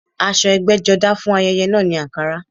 Aṣọ ẹgbẹ́jọdá fún ayẹyẹ náà ni àǹkará